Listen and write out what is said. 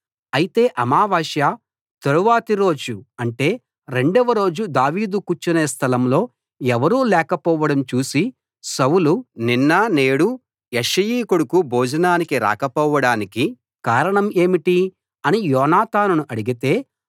అయితే అమావాస్య తరువాతి రోజు అంటే రెండవ రోజు దావీదు కూర్చునే స్థలం లో ఎవరూ లేకపోవడం చూసి సౌలు నిన్న నేడు యెష్షయి కొడుకు భోజనానికి రాకపోవడానికి కారణం ఏంటి అని యోనాతానును అడిగితే